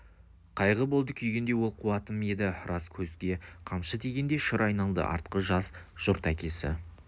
қайғы болды күйгендей ол қуатым еді рас көзге қамшы тигендей шыр айналды артқы жас жұрт әкесі